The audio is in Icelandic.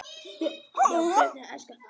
Björn: Já börnin elska það?